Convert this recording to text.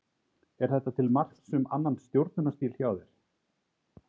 Er þetta til marks um annan stjórnunarstíl hjá þér?